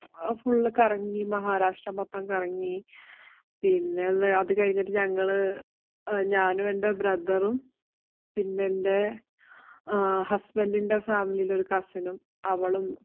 full അങ്ങ് കറങ്ങി. മഹാരാഷ്ട്ര മൊത്തം കറങ്ങി. ആഹ് പിന്നെ അതു കഴിഞ്ഞിട്ട് ഞങ്ങള് ഞാനും, എന്‍റെ brother പിന്നെ എന്‍റെ husband ന്‍റെ family ലെ ഒരു cousin ഉം, അവളും